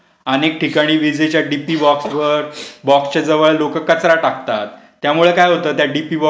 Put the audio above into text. पुरवठा खंडित होतो. अनेक ठिकाणी विजेचा डीपी बॉक्स वर बॉक्सच्या जवळ लोक कचरा टाकतात त्यामुळे काय होतं त्या